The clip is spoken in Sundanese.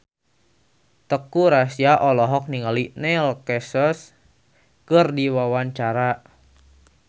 Teuku Rassya olohok ningali Neil Casey keur diwawancara